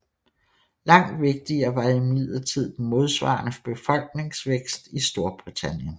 Langt vigtigere var imidlertid den modsvarende befolkningsvækst i Storbritannien